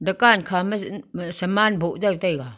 dekan khama saman boh jaw taiga.